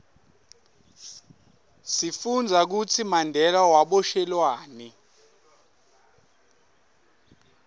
sifundza kutsi mandela waboshelwani